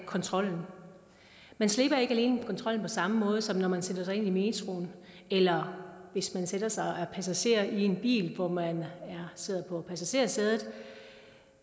kontrollen man slipper ikke kontrollen på samme måde som når man sætter sig ind i metroen eller hvis man sætter sig og er passager i en bil hvor man sidder på passagersædet